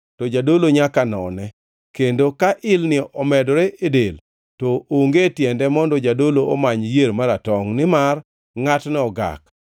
to jadolo nyaka none, kendo ka ilni omedore e del, to onge tiende mondo jadolo omany yier maratongʼ, nimar ngʼatno ogak.